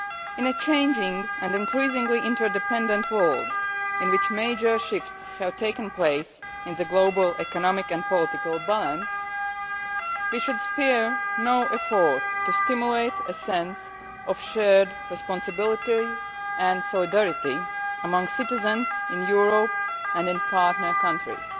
In a changing and increasingly interdependent world in which major shifts have taken place in the global economic and political balance, we should spare no effort to stimulate a sense of shared responsibility and solidarity among citizens in Europe and in partner countries.